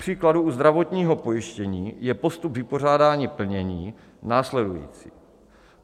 Kupříkladu u zdravotního pojištění je postup vypořádání plnění následující.